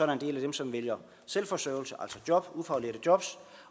en del af dem som vælger selvforsørgelse altså job ufaglærte job